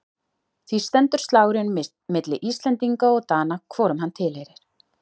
Því stendur slagurinn milli Íslendinga og Dana hvorum hann tilheyrir.